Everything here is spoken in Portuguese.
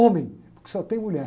Homem, porque só tem mulher.